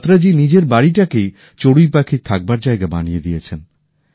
বত্রা জী নিজের বাড়িটাকেই চড়ুইপাখির থাকবার জায়গা বানিয়ে দিয়েছেন